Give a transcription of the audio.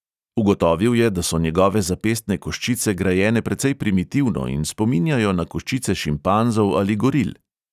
Ugotovil je, da so njegove zapestne koščice grajene precej primitivno in spominjajo na koščice šimpanzov ali goril.